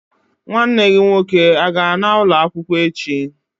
Nwanne gị nwoke a-ga ana ụlọ akwụkwọ echi?